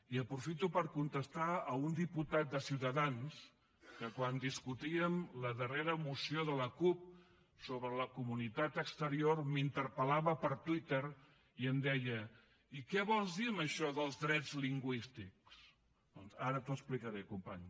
i aprofito per contestar a un diputat de ciutadans que quan discutíem la darrera moció de la cup sobre la comunitat exterior m’interpel·lava per twitter i em deia i què vols dir amb això dels drets lingüístics doncs ara t’ho explicaré company